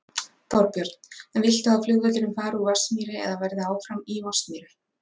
Þorbjörn: En viltu að flugvöllurinn fari úr Vatnsmýri eða verði áfram í Vatnsmýri?